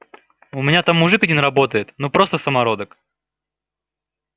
у меня там мужик один работает ну просто самородок